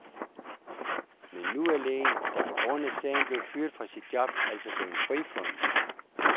Men nu er lægen, der på grund af sagen blev fyret fra sit job, altså blevet frifundet.